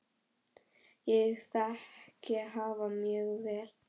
Ég þekki hafa mjög vel.